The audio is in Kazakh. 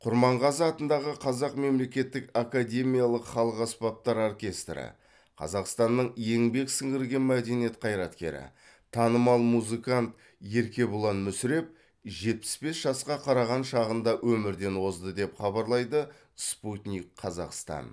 құрманғазы атындағы қазақ мемлекеттік академиялық халық аспаптар оркестрі қазақстанның еңбек сіңірген мәдениет қайраткері танымал музыкант еркебұлан мүсіреп жетпіс бес жасқа қараған шағында өмірден озды деп хабарлайды спутник қазақстан